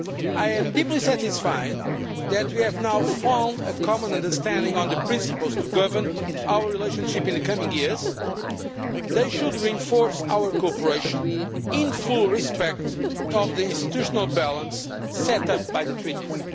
I am deeply satisfied that we have now found a common understanding on the principles that will govern our relationship in the coming years. They should reinforce our cooperation in full respect of the institutional balance set up by the treaties.